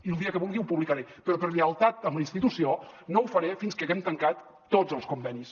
i el dia que vulgui ho publicaré però per lleialtat a la institució no ho faré fins que haguem tancat tots els convenis